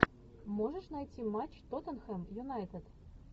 можешь найти матч тоттенхэм юнайтед